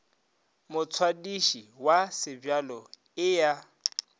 motswadiši wa sebjalo e a